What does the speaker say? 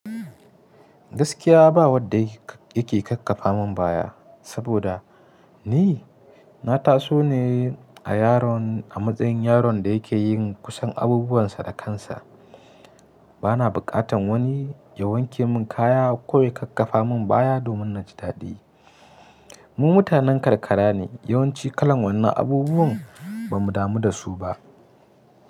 Gaskya ba wande yake ka kaffafa mun baya saboda ni na taso ne a yaron a matsayin yaron da yake yin kusan abubuwansa da kansa. Bana bukatan wani ya wanke mun ƙaya ko ya kakkafa mun baya domin na ji dadi. Mu mutanen karkara ne, yawanci kalan wannan abubuwan ba mu damu da su ba.